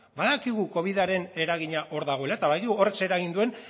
badakigu covidaren eragina hor dagoela eta badakigu horrek zer eragin duen